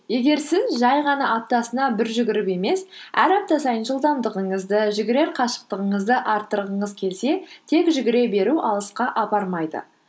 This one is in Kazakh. егер сіз жай ғана аптасына бір жүгіріп емес әр апта сайын жылдамдығыңызды жүгірер қашықтығыңызды арттырғыңыз келсе тек жүгіре беру алысқа апармайды